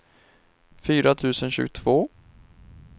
fyra tusen tjugotvå